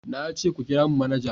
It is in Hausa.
Na ce ku kira mun manaja!